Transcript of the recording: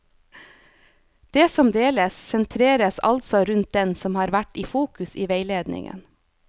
Det som deles, sentreres altså rundt den som har vært i fokus i veiledningen.